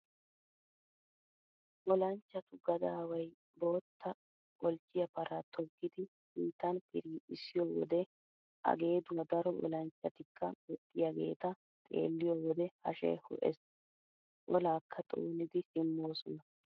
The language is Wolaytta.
Olanchchatu gadaawayi bootta qolchchiyaa paraa toggidi sinttan piriixissiyoo wode A geeduwaa daro olanchchatikka woxxiyaageeta xeelliyoo wode hashee ho''ees. Olaakka xoonidi simmoosona.